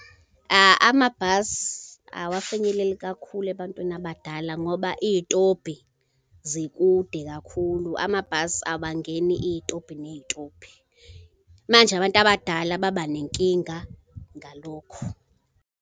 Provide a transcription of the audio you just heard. Amabhasi awafinyeleli kakhulu ebantwini abadala ngoba iy'tobhi zikude kakhulu, amabhasi abangeni, iy'tobhi ney'itobhi. Manje abantu abadala baba nenkinga ngalokho.